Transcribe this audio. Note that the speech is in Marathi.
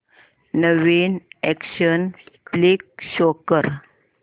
नवीन अॅक्शन फ्लिक शो कर